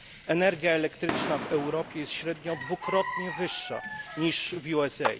Energia elektryczna w Europie jest średnio dwukrotnie droższa niż w USA.